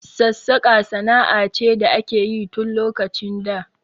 Sassaƙa sana'a ce da akeyi tun lokacin da